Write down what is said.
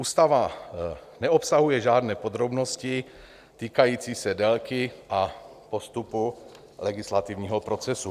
Ústava neobsahuje žádné podrobnosti týkající se délky a postupu legislativního procesu.